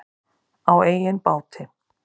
Á eigin báti.